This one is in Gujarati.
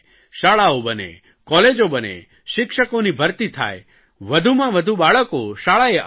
શાળાઓ બને કોલેજો બને શિક્ષકોની ભરતી થાય વધુમાં વધુ બાળકો શાળાએ આવે